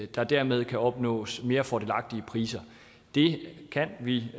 der dermed kan opnås mere fordelagtige priser det kan vi